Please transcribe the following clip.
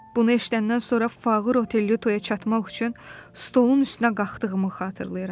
Bunu eşidəndən sonra Fağır Oterluytoya çatmaq üçün stolun üstünə qalxdığımı xatırlayıram.